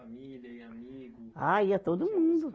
e amigos? Ah, ia todo mundo.